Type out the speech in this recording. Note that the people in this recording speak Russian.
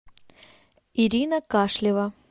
ирина кашлева